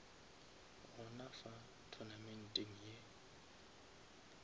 gona fa tournamenteng ye